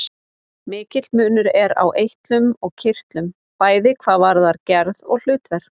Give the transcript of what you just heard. Mikill munur er á eitlum og kirtlum, bæði hvað varðar gerð og hlutverk.